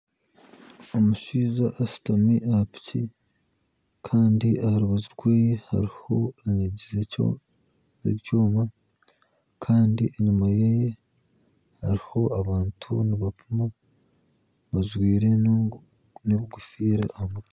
Omushaija ashutami aha piki kandi aha rubaju rwe hariho ohekire ekyoma kandi enyima ye hariho abantu nibapiima bajwire n'enkofiira aha mutwe